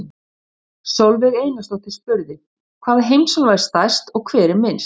Sólveig Einarsdóttir spurði: Hvaða heimsálfa er stærst og hver er minnst?